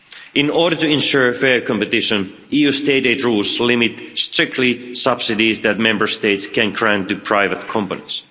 In order to ensure fair competition, EU state aid rules limit strictly subsidies that Member States can grant to private companies.